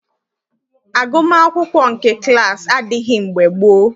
Agụmaakwụkwọ nke klaasị adịghị mgbe gboo.